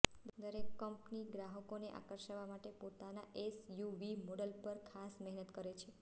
દરેક કંપની ગ્રાહકોને આકર્ષવા માટે પોતાનાં એસયુવી મોડેલ પર ખાસ મહેનત કરે છે